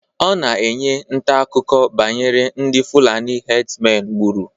Ọ na-enye ntaakụkọ banyere ndị fulani hedsmen gburu